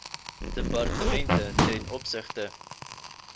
departemente ten opsigte